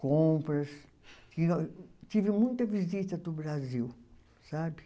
Compras... Tive tive muita visita do Brasil, sabe?